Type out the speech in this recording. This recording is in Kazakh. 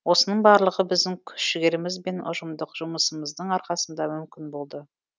осының барлығы біздің күш жігеріміз бен ұжымдық жұмысымыздың арқасында мүмкін болды